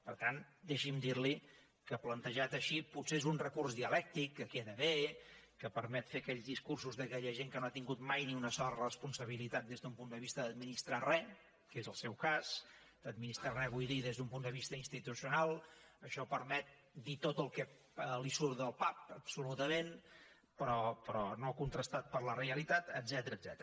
per tant deixi’m dir li que plantejat així potser és un recurs dialèctic que queda bé que permet fer aquells discursos d’aquella gent que no ha tingut mai ni una sola responsabilitat des d’un punt de vista d’administrar res que és el seu cas d’administrar res vull dir des d’un punt de vista institucional això permet dir tot el que li surt del pap absolutament però no contrastat per la realitat etcètera